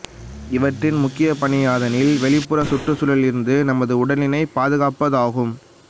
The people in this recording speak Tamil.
இவற்றின் முக்கியப் பணி யாதெனில் வெளிப்புற சுற்றுச்சுழலில் இருந்து நமது உடலினைப் பாதுகாப்பது ஆகும்